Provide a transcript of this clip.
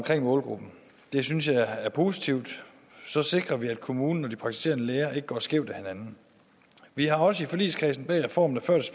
målgruppen det synes jeg er positivt så sikrer vi at kommunen og de praktiserende læger ikke går skævt af hinanden vi har også i forligskredsen bag reformen